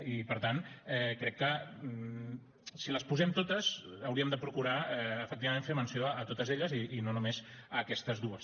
i per tant crec que si les posem totes hauríem de procurar efectivament fer menció de totes elles i no només d’aquestes dues